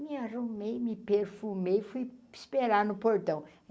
Me arrumei, me perfumei e fui esperar no portão.